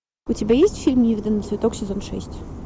у тебя есть фильм невиданный цветок сезон шесть